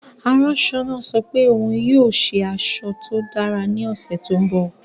Aṣọ náà sọ pé òun yóò ṣe aṣọ tó dára ní ọ̀sẹ̀ tó ń bọ̀.